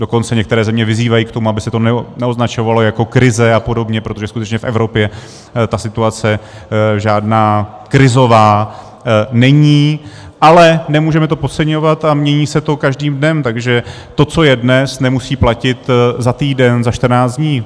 Dokonce některé země vyzývají k tomu, aby se to neoznačovalo jako krize a podobně, protože skutečně v Evropě ta situace žádná krizová není, ale nemůžeme to podceňovat a mění se to každým dnem, takže to, co je dnes, nemusí platit za týden, za 14 dní.